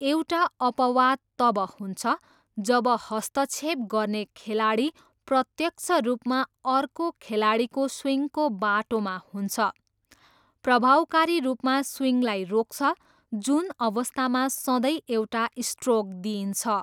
एउटा अपवाद तब हुन्छ जब हस्तक्षेप गर्ने खेलाडी प्रत्यक्ष रूपमा अर्को खेलाडीको स्विङको बाटोमा हुन्छ, प्रभावकारी रूपमा स्विङलाई रोक्छ, जुन अवस्थामा सधैँ एउटा स्ट्रोक दिइन्छ।